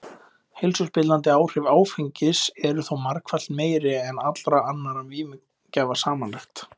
Heilsuspillandi áhrif áfengis eru þó margfalt meiri en allra annarra vímugjafa samanlagt.